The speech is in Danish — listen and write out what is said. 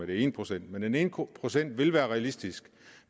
den ene procent men den ene procent vil være realistisk